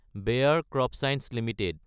বেয়াৰ CropScience Ltd